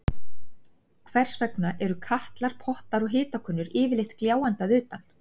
Hvers vegna eru katlar, pottar og hitakönnur yfirleitt gljáandi að utan?